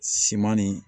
Siman nin